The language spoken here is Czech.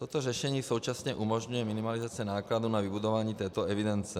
Toto řešení současně umožňuje minimalizaci nákladů na vybudování této evidence.